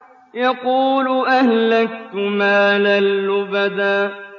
يَقُولُ أَهْلَكْتُ مَالًا لُّبَدًا